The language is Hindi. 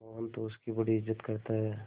मोहन तो उसकी बड़ी इज्जत करता है